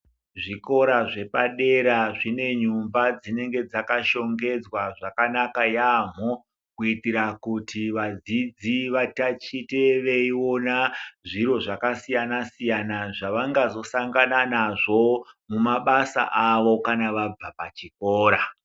Zvikora zvepadera zvinenyumba dzinonga dzakashongedzwa zvakanaka yaamho. Kuitira kuti vadzidzi vatachite veiona zviro zvakasiyana-siyana, zvavangazosangana nazvo mumabasa avo kana vabva pachikora.